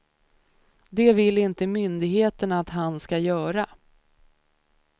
Det vill inte myndigheterna att han ska göra.